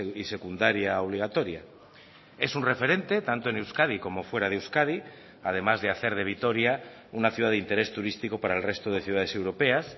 y secundaria obligatoria es un referente tanto en euskadi como fuera de euskadi además de hacer de vitoria una ciudad de interés turístico para el resto de ciudades europeas